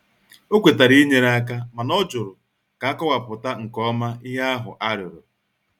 O kwetara inyere aka mana ọ jụrụ ka akọwapụta nke ọma ihe ahụ arịọrọ.